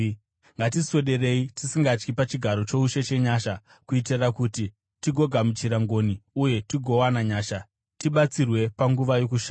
Ngatiswederei tisingatyi pachigaro choushe chenyasha, kuitira kuti tigogamuchira ngoni uye tigowana nyasha, tibatsirwe panguva yokushayiwa.